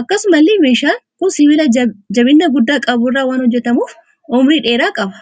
Akkasumallee meeshaan kun sibiilla jabina guddaa qaburraa waan hojjetamuuf umrii dheeraa qaba.